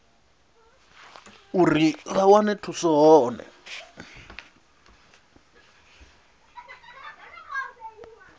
uri vha wane thuso hone